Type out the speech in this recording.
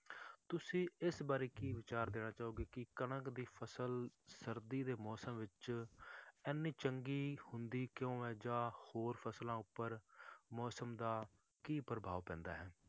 ਤੁਸੀਂ ਇਸ ਬਾਰੇ ਕੀ ਵਿਚਾਰ ਦੇਣਾ ਚਾਹੋਗੇ ਕਿ ਕਣਕ ਦੀ ਫਸਲ ਸਰਦੀ ਦੇ ਮੌਸਮ ਵਿੱਚ ਇੰਨੀ ਚੰਗੀ ਹੁੰਦੀ ਕਿਉਂ ਹੈ ਜਾਂ ਹੋਰ ਫਸਲਾਂ ਉੱਪਰ ਮੌਸਮ ਦਾ ਕੀ ਪ੍ਰਭਾਵ ਪੈਂਦਾ ਹੈ?